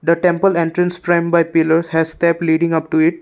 the temple entrance stem by pillars has the leading up to it.